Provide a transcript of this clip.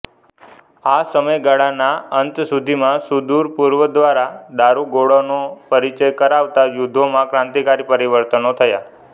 આ સમયગાળાના અંત સુધીમાં સુદૂર પૂર્વ દ્વારા દારૂગોળાનો પરિચય કરાવતાં યુદ્ધો માં ક્રાંતિકારી પરિવર્તનો થયા